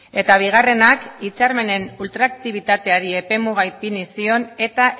eta bigarrenak hitzarmenen ultraaktibitateari epe muga ipini zion eta